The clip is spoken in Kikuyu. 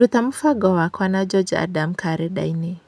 ruta mũbango wakwa na George Adams karenda-inĩ